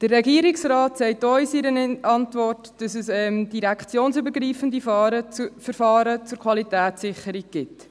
Der Regierungsrat sagt uns in einer Antwort, dass es direktionsübergreifende Verfahren zur Qualitätssicherung gibt.